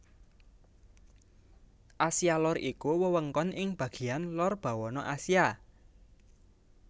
Asia Lor iku wewengkon ing bagéyan lor bawana Asia